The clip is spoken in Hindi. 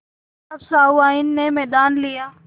अब सहुआइन ने मैदान लिया